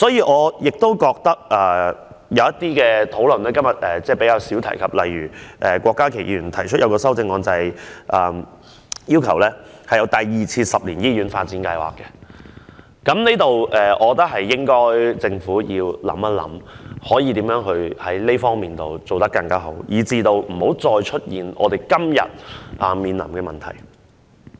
我認為有些討論是今天比較少提及的，例如郭家麒議員提出修正案，要求推出第二個十年醫院發展計劃，我認為政府應該想一想，如何就這方面做得更好，避免再出現今天面臨的問題。